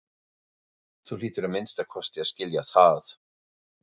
Þú hlýtur að minnsta kosti að skilja það.